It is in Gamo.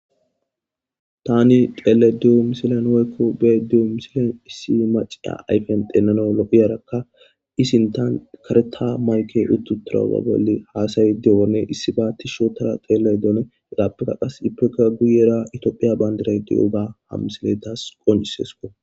Tani xeeshe de'iyo misiley woykko be'ishe de'iya misiley issi Mac'asiya ayffe xeelanas lo'iyarakka ii sinthan karetha mayke utidoganne asa'ashe de'yoganne issibba tishi ootada xelishe de'yoganne hegappe qas guyera toophphiya banddira de'yoga ha misilezi konc'ises.